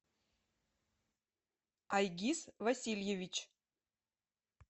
айгиз васильевич